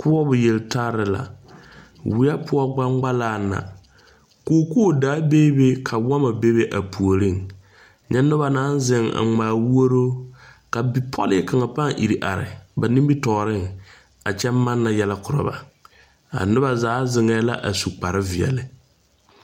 Koɔbɔ yeltarre la Weɛ poɔ gbaŋgbalaaŋ na kookoo daa bee be ka wɔmmɔ bebe a puoriŋ nyɛ nobɔ naŋ zeŋ a ngmaa wuoroo ka bipɔlee kaŋa pãã ire are ba nimitooreŋ kyɛ manna yɛlɛ korɔ ba a nobɔ zaa zeŋɛɛ la su kpare veɛle.